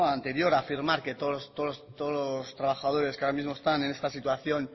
a afirmar a que todos los trabajadores que ahora mismo están en esta situación